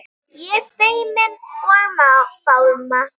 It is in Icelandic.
Ég feimin og fámál.